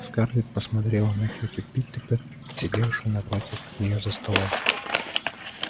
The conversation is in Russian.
скарлетт посмотрела на тётю питтипэт сидевшую напротив неё за столом